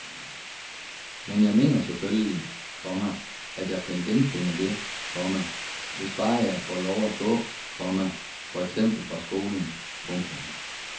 Men jeg mener selvfølgelig, komma at jeg kan genfinde det, komma hvis bare jeg får lov at gå, komma for eksempel fra skolen. punktum